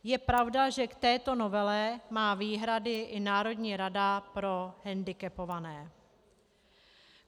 Je pravda, že k této novele má výhrady i Národní rada pro hendikepované.